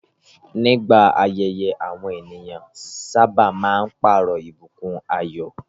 Nígbà ayẹyẹ, àwọn ènìyàn sábà máa ń pààrọ̀ ìbùkún ayọ̀.